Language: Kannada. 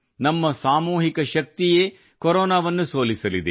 ನಮ್ಮ ಸಾಮೂಹಿಕ ಶಕ್ತಿಯೇ ಕೊರೊನಾವನ್ನು ಸೋಲಿಸಲಿದೆ